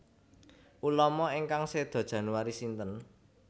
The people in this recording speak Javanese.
Ulama ingkang sedo Januari sinten